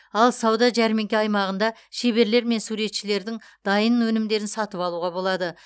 ал сауда жәрмеңке аймағында шеберлер мен суретшілердің дайын өнімдерін сатып алуға болады